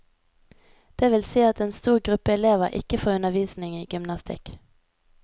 Det vil si at en stor gruppe elever ikke får undervisning i gymnastikk.